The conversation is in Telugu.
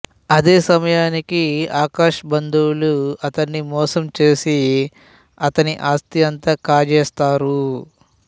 అదే సమయానికి ఆకాష్ బంధువులు అతన్ని మోసం చేసి అతని ఆస్తినంతా కాజేస్తారు